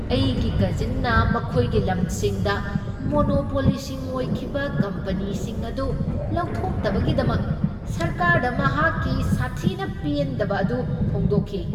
ꯑꯩꯒꯤ ꯀꯖꯤꯟꯅ ꯃꯈꯣꯏꯒꯤ ꯂꯝꯁꯤꯡꯗ ꯃꯣꯅꯣꯄꯣꯂꯤꯁꯤꯡ ꯑꯣꯏꯈꯤꯕ ꯀꯝꯄꯅꯤꯁꯤꯡ ꯑꯗꯨ ꯂꯧꯊꯣꯛꯇꯕꯒꯤꯗꯃꯛ ꯁꯔꯀꯥꯔꯗ ꯃꯍꯥꯛꯀꯤ ꯁꯥꯊꯤꯅ ꯄꯦꯟꯗꯕ ꯑꯗꯨ ꯐꯣꯡꯗꯣꯛꯈꯤ꯫